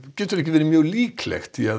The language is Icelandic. getur ekki verið mjög líklegt því